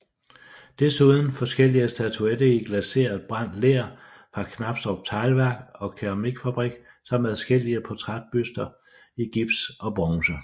Desuden forskellige statuetter i glaseret brændt ler for Knabstrup Teglværk og Keramikfabrik samt adskillige portrætbuster i gips og bronze